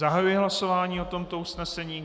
Zahajuji hlasování o tomto usnesení.